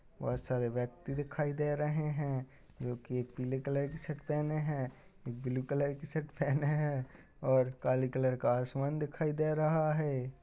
बहुत सारे व्यक्ति दिखाई दे रहे हैं जो की एक पीले कलर की शर्ट पहने हैं ब्लू कलर की शर्ट पहने है और काले कलर का आसमान दिखाई दे रहा है।